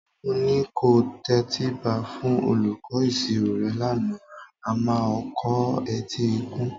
Mo ní kò tẹtíba fún olùkọ́ ìṣirò rẹ lánàá a máa o kọ etí ikún